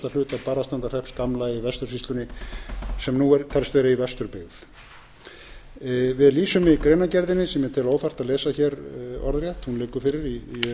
barðastrandarsýslu og austasta hluta barðastrandarhrepps gamla í vestursýslunni sem nú telst vera í vesturbyggð við lýsum í greinargerðinni sem ég tel óþarft að lesa hér orðrétt hún liggur fyrir í